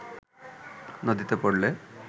নদীতে পড়লে